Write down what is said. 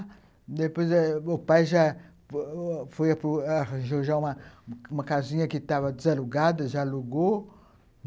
Depois, eh, o pai já arranjou uma casinha que estava desalugada, já alugou.